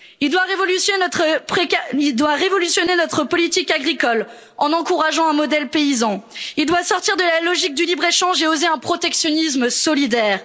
il doit révolutionner notre politique agricole en encourageant un modèle paysan il doit sortir de la logique du libre échange et oser un protectionnisme solidaire